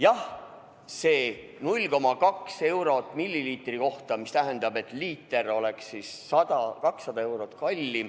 Jah, see 0,2 eurot milliliitri kohta, mis tähendab, et liiter oleks 100–200 eurot kallim.